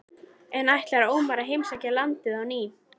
Þegar Sigmundur læknir frétti hvernig komið var skrifaði hann hreppsnefnd